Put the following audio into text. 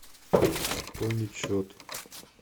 пополнить счет